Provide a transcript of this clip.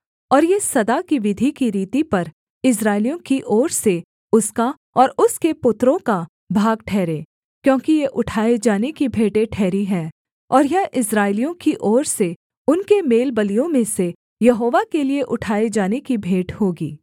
और ये सदा की विधि की रीति पर इस्राएलियों की ओर से उसका और उसके पुत्रों का भाग ठहरे क्योंकि ये उठाए जाने की भेंटें ठहरी हैं और यह इस्राएलियों की ओर से उनके मेलबलियों में से यहोवा के लिये उठाए जाने की भेंट होगी